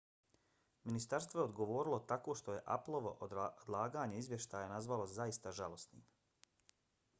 ministarstvo je odgovorilo tako što je appleovo odlaganje izvještaja nazvalo zaista žalosnim